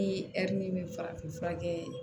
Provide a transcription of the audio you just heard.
Ni ɛri bɛ farafin fura kɛ